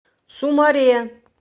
сумаре